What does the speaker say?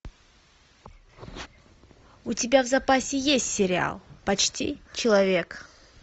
у тебя в запасе есть сериал почти человек